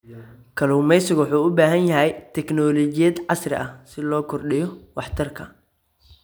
Kalluumeysigu wuxuu u baahan yahay teknoolojiyad casri ah si loo kordhiyo waxtarka.